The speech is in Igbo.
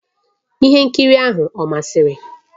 Ihe nkiri ahụ ọ masịrị?